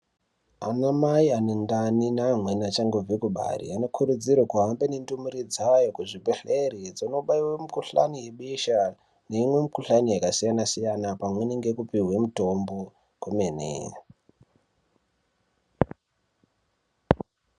Anamai ane ndani neamweni achangobve kubara anokurudzirwa kuhambe nendumure dzayo kuzvibhehleri dzonobaiwe mikhulani yebesha neimwe mikhuhlani yakasiyanasiyana, pamweni ngekupiwe mitombo kwemene.